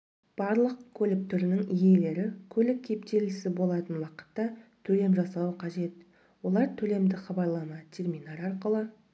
барлық көлік түрінің иелері көлік кептелісі болатын уақытта төлем жасауы қажет олар төлемді хабарлама терминал арқылы